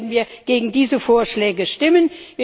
Deswegen werden wir gegen diese Vorschläge stimmen.